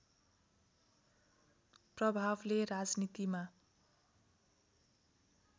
प्रभावले राजनीतिमा